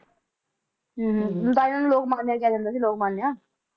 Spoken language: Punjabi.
ਤਾਂਹੀ ਇਨ੍ਹਾਂ ਨੂੰ ਲੋਕਮਾਨਯਾ ਕਹਿ ਦਿੰਦੇ ਸੀ ਲੋਕਮਾਨਯਾ